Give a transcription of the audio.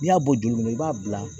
N'i y'a bɔ joli kɔnɔ i b'a bila